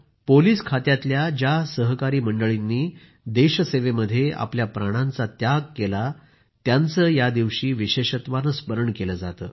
police खात्यातल्या ज्या सहकारी मंडळींनी देशसेवेमध्ये आपल्या प्राणांचा त्याग केला त्यांचे या दिवशी विशेषत्वाने स्मरण केले जाते